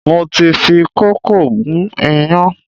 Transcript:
Mo ti fi kókò gún iyán